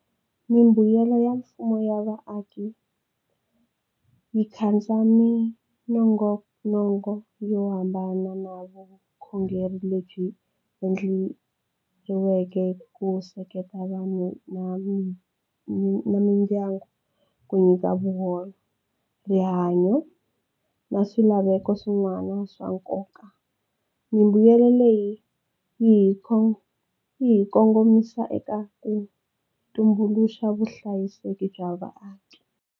Mimbuyelo ya mfumo ya vaaki yi katsa minongonoko yo hambana na vukhongeri lebyi endleriweke ku seketela na mindyangu ku nyika na swilaveko swin'wana swa nkoka mimbuyelo leyi yi hi kongomisa eka ku tumbuluxa vuhlayiseki bya vaaki.